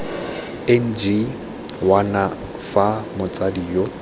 ng wana fa motsadi yo